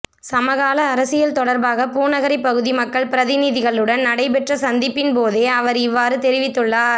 சமகால அரசியல் தொடர்பாக பூநகரி பகுதி மக்கள் பிரதிநிதிகளுடன் நடைபெற்ற சந்திப்பின்போதே அவர் இவ்வாறு தெரிவித்துள்ளார்